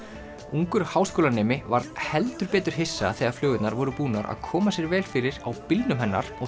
ungur háskólanemi varð heldur betur hissa þegar flugurnar voru búnar að koma sér vel fyrir á bílnum hennar og